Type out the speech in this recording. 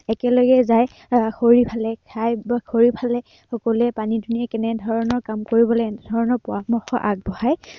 একেলগে যায় এৰ খৰি ফালে, খাই বৈ খৰি ফালে, সকলোৱে পানী দুনিয়ে কেনেধৰণেৰে কাম কৰিব লাগে পৰামৰ্শ আগবঢ়ায়।